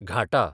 घाटां